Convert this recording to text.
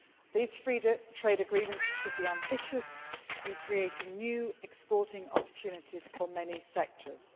These free trade agreements should be ambitious in creating new exporting opportunities for many sectors.